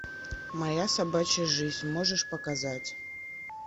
моя собачья жизнь можешь показать